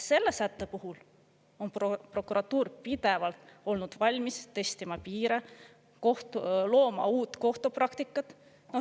Selle sätte puhul on prokuratuur pidevalt olnud valmis testima piire, looma uut kohtupraktikat.